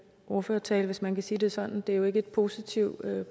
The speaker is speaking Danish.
ordførertale hvis man kan sige det sådan det er jo ikke en positiv